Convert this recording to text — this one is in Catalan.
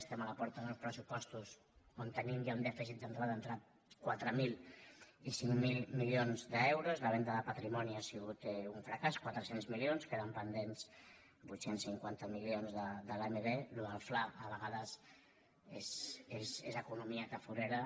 estem a la porta d’uns pressupostos on tenim ja un dèficit d’entrada d’entre quatre mil i cinc mil mi·lions d’euros la venda de patrimoni ha sigut un fra·càs quatre cents milions queden pendents vuit cents i cinquanta milions de l’amb això del fla a vegades és economia tafure·ra